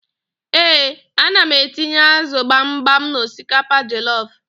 Ee, ana m etinye ázụ̀ gbamgbam n'osikapa jọlọf.